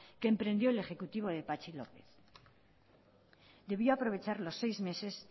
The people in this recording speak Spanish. que emprendió el ejecutivo de patxi lópez debió aprovechar los seis meses